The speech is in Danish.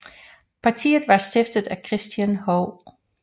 Partiet var stiftet af Christian H